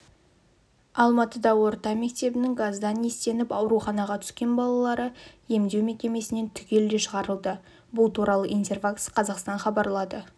алматыда орта мектебінің газдан иістеніп ауруханаға түскен балалары емдеу мекемесінен түгелдей шығарылды бұл туралы интерфакс-қазақстан хабарлады